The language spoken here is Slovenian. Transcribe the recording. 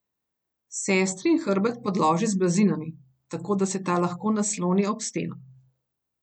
Sestrin hrbet podloži z blazinami, tako da se ta lahko nasloni ob steno.